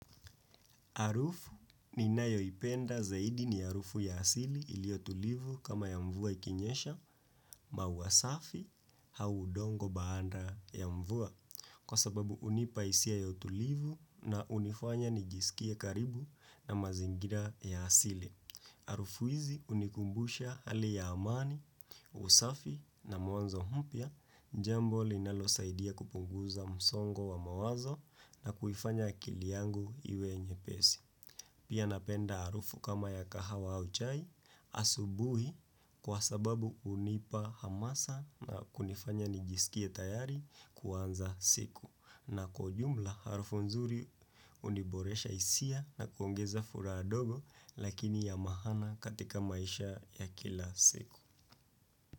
Harufu ninayoipenda zaidi ni harufu ya asili iliotulivu kama ya mvua ikinyesha, maua safi, au udongo baada ya mvua. Kwa sababu hunipa hisia ya utulivu na unifanya nijiskie karibu na mazingira ya asili. hArufu hizi hunikumbusha hali ya amani, usafi na mwanzo mpya njambo linalosaidia kupunguza msongo wa mawazo na kuifanya akili yangu iwe nyepesi. Pia napenda harufu kama ya kahawa au chai asubuhi kwa sababu hunipa hamasa na kunifanya nijisikie tayari kuanza siku. Na kwa ujumla harufu nzuri huniboresha hisia na kuongeza furaha ndogo lakini ya maana katika maisha ya kila siku.